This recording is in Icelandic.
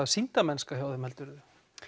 sýndarmennska hjá þeim heldurðu